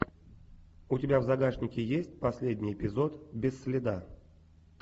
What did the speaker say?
у тебя в загашнике есть последний эпизод без следа